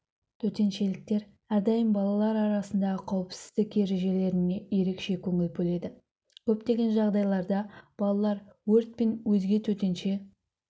төтеншеліктер әрдайым балалар арасындағы қауіпсіздік ережелеріне ерекше көңіл бөледі көптеген жағдайларда балалар өрт пен өзге төтенше